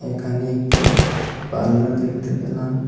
এখানে একটি পার্লার দেখতে পেলাম।